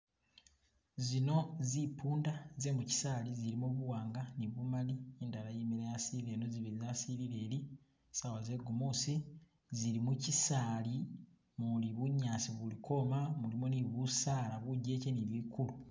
Zino zimpunda zemuchisali zilimo buwanga ni bumali indala yimile yasilile ino zibili zasilile ili sawa zegumusi zili muchisali muli bunyasi buli kwoma mulimo ni busaala bijeche ni bikulu.